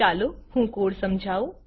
ચાલો હું કોડ સમજાઉ